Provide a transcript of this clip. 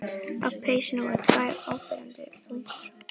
Á peysunni voru tvær áberandi bungur.